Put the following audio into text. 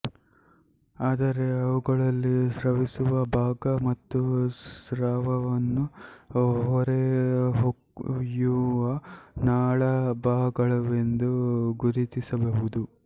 ಆದರೆ ಅವುಗಳಲ್ಲಿ ಸ್ರವಿಸುವ ಭಾಗ ಮತ್ತು ಸ್ರಾವವನ್ನು ಹೊರಕ್ಕೊಯ್ಯುವ ನಾಳಭಾಗವೆಂದು ಗುರುತಿಸಬಹುದು